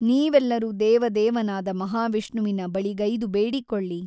ನೀವೆಲ್ಲರೂ ದೆವದೇವನಾದ ಮಹಾವಿಷ್ಣುವಿನ ಬಳಿಗೈದು ಬೇಡಿಕೊಳ್ಳಿ.